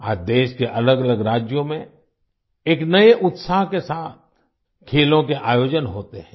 आज देश के अलगअलग राज्यों में एक नए उत्साह के साथ खेलों के आयोजन होते हैं